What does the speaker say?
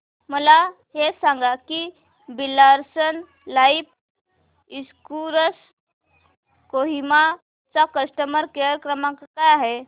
मला हे सांग की Birla sun life insurance Kohima चा कस्टमर केअर क्रमांक काय आहे